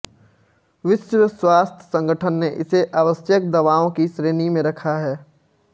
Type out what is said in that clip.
विश्व स्वास्थ्य संगठन ने इसे आवश्यक दवाओं की श्रेणी में रखा है